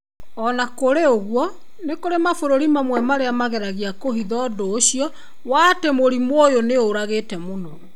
O na kũrĩ ũguo, nĩ kũrĩ mabũrũri mamwe marĩa mageragia kũhitha ũndũ ũcio wa atĩ murimũ ũyũ nĩ ũragĩte mũno".